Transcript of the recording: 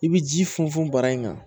I bi ji funfun bara in kan